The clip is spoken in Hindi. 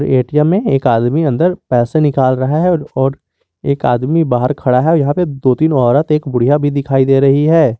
ए_टी_एम में एक आदमी पैसे निकल रहा है और एक आदमी बाहर खड़ा है और यहां दो तीन औरत और एक बुढिया भी दिखाई दे रही है।